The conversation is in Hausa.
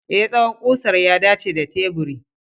E, tsawon ƙusar ya dace da teburi.